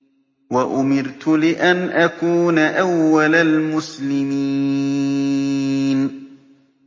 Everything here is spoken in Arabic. وَأُمِرْتُ لِأَنْ أَكُونَ أَوَّلَ الْمُسْلِمِينَ